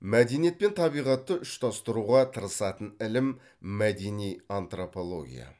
мәдениет пен табиғатты ұштастыруға тырысатын ілім мәдени антропология